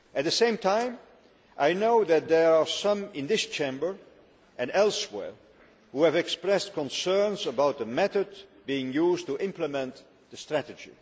At the same time, I know that there are some in this Chamber and elsewhere who have expressed concerns about the method being used to implement the strategy.